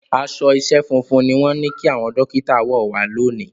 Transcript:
Aṣọ iṣẹ́ funfun ni wọ́n ní kí àwọn Dókítà wọ̀ wá lónìí